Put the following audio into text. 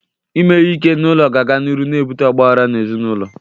Ime ihe ike n'ụlọ ga-aga n'iru n'ebute ọgbaghara n'ezinaụlọ.